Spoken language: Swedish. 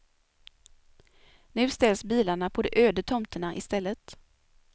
Nu ställs bilarna på de öde tomterna istället.